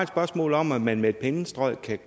spørgsmål om man med med et pennestrøg